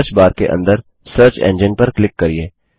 search bar के अंदर search engine पर क्लिक करिये